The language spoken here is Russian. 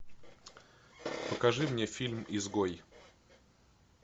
покажи мне фильм изгой